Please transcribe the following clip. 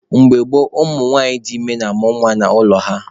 Mgbe gboo, ụmụ nwanyị dị ime na-amụ nwa n'ụlọ ha.